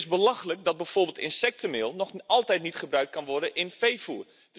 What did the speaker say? Het is belachelijk dat bijvoorbeeld insectenmeel nog altijd niet gebruikt kan worden in veevoer.